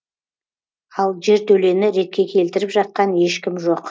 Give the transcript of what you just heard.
ал жертөлені ретке келтіріп жатқан ешкім жоқ